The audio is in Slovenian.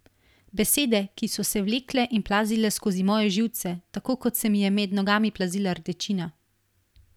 Besede, ki so se vlekle in plazile skozi moje živce, tako kot se mi je med nogami plazila rdečina.